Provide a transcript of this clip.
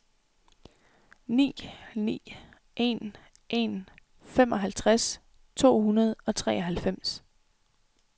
ni ni en en femoghalvtreds to hundrede og treoghalvfems